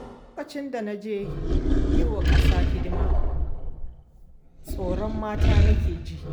Lokacin da na je yi wa ƙasa hidima, tsoron mata nake ji.